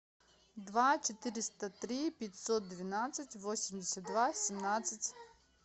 два четыреста три пятьсот двенадцать восемьдесят два семнадцать